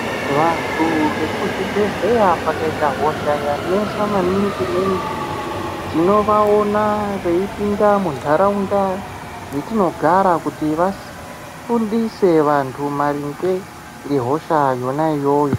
Vantu vekuzvibhedhleya pakaita hosha yanesa maningi ningi tinovaona veipinda muntaraunda yetinogara kuti vafundise vantu maringe ngegosha yona iyoyo.